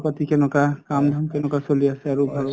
খবৰ প্অঅ্যাটী কেনেকুৱা কাম ধাম কেনেকুৱা চলি আছে আৰু ঘৰৰ